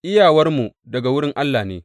Iyawarmu daga wurin Allah ne.